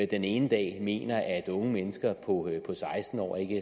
den ene dag mener at unge mennesker på seksten år ikke